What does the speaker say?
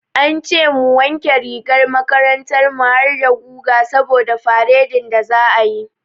An ce mu wanke rigar makarantar mu harda guga saboda faredin da za'a yi.